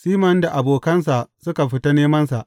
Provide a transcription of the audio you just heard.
Siman da abokansa suka fita nemansa.